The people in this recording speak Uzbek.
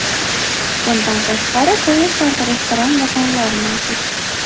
Bundan tashqari, poyezdlarda restoran vagonlar mavjud.